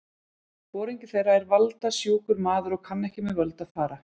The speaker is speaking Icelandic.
Foringi þeirra er valda- sjúkur maður og kann ekki með völd að fara.